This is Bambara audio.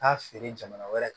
Taa feere jamana wɛrɛ